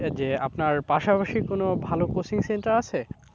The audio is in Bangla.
যে আপনার পাশাপাশি কোনো ভালো coaching centre আছে?